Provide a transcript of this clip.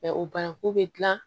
o banaku bɛ dilan